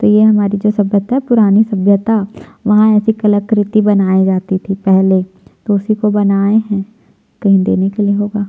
ये हमारी जो सभ्यता हैं पुरानी सभ्यता वहाँ ऐसी कलाकृति बनाई जाती थी पहले तो उसी को बनाये है कही देने के लिए होगा।